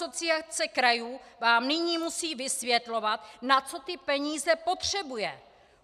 Asociace krajů vám nyní musí vysvětlovat, na co ty peníze potřebuje!